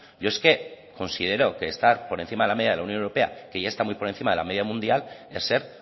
yo es que considero que estar por encima de la media de la unión europea que ya está muy por encima de la media mundial es ser